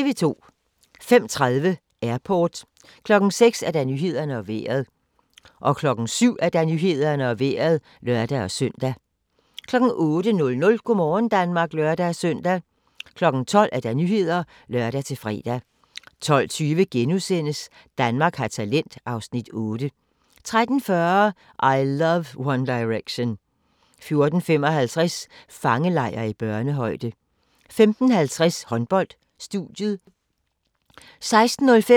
05:30: Airport 06:00: Nyhederne og Vejret 07:00: Nyhederne og Vejret (lør-søn) 08:00: Go' morgen Danmark (lør-søn) 12:00: Nyhederne (lør-fre) 12:20: Danmark har talent (Afs. 8)* 13:40: I Love One Direction 14:55: Fangelejr i børnehøjde 15:50: Håndbold: Studiet 16:05: Håndbold: Danmark-Tjekkiet (k), direkte